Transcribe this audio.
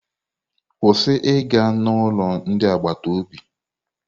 Kwụsị ịga n'ụlọ ndị agbata obi!